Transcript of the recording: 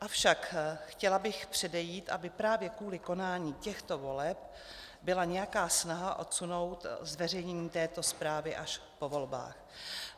Avšak chtěla bych předejít, aby právě kvůli konání těchto voleb byla nějaká snaha odsunout zveřejnění této zprávy až po volbách.